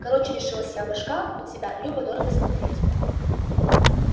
короче решилась я башка у тебя любо дорого смотреть